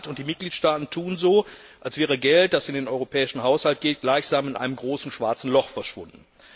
Der Rat und die Mitgliedstaaten tun so, als wäre Geld, das in den europäischen Haushalt geht, gleichsam in einem großen schwarzen Loch verschwunden.